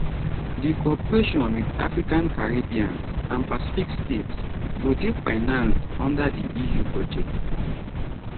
di cooperation wit african caribbean and pacific states go dey financed under di eu budget